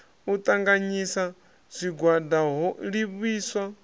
u ṱanganyisa zwigwada ho livhiswaho